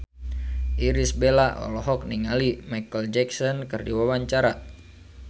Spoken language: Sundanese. Irish Bella olohok ningali Micheal Jackson keur diwawancara